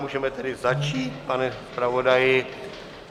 Můžeme tedy začít, pane zpravodaji.